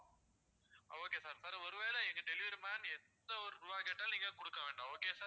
okay sir sir ஒரு வேளை எங்க delivery man எந்த ஒரு ரூவா கேட்டாலும் நீங்க கொடுக்க வேண்டாம் okay யா sir